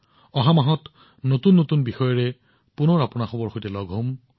অহা মাহত আপোনালোকক নতুন বিষয়ৰ সৈতে পুনৰ লগ পাম